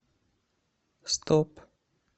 стоп